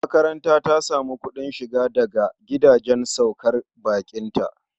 Makaranta ta sami kuɗin shiga daga gidajen saukar baƙinta.